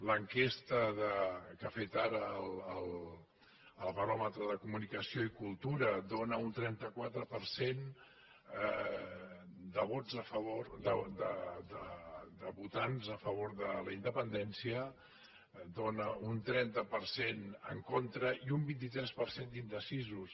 l’enquesta que ha fet ara el baròmetre de la comunicació i la cultura dóna un trenta quatre per cent de votants a favor de la independència dóna un trenta per cent en contra i un vint tres per cent d’indecisos